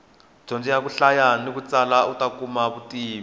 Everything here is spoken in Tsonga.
dyondza ku hlaya na ku tsala uta kuma vutivi